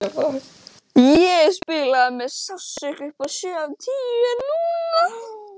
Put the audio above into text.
Ég spilaði með sársauka upp á sjö af tíu en núna?